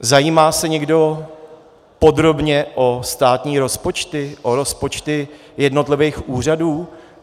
Zajímá se někdo podrobně o státní rozpočty, o rozpočty jednotlivých úřadů?